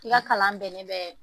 I ka kalan bɛnnen bɛ,